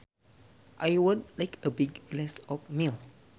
I would like a big glass of milk